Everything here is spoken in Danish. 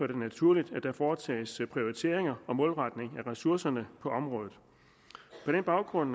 det naturligt at der foretages en prioritering og målretning af ressourcerne på området på den baggrund